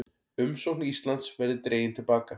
Umsókn Íslands verði dregin til baka